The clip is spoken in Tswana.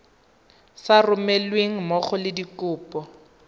sa romelweng mmogo le dikopo